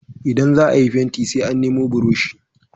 Ida za a yi fenti sai an nemi burushi.